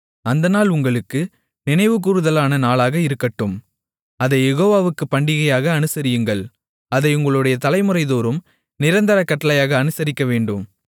அந்த நாள் உங்களுக்கு நினைவுகூருதலான நாளாக இருக்கட்டும் அதைக் யெகோவாவுக்குப் பண்டிகையாக அனுசரியுங்கள் அதை உங்களுடைய தலைமுறைதோறும் நிரந்தர கட்டளையாக அனுசரிக்கவேண்டும்